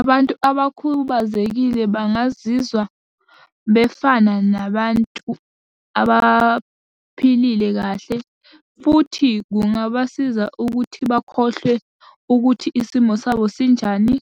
Abantu abakhubazekile bangazizwa befana nabantu abaphile kahle, futhi kungabasiza ukuthi bakhohlwe ukuthi isimo sabo sinjani,